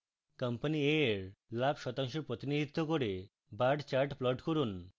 company a এর লাভ শতাংশ প্রতিনিধিত্ব করে bar chart plot করুন